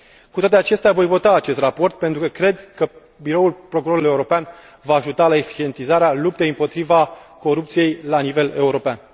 Cu toate acestea, voi vota acest raport, pentru că cred că Biroul Procurorului European va ajuta la eficientizarea luptei împotriva corupției la nivel european.